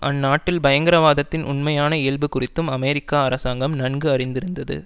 அந்நாட்டில் பயங்கரவாதத்தின் உண்மையான இயல்பு குறித்தும் அமெரிக்க அரசாங்கம் நன்கு அறிந்திருந்தது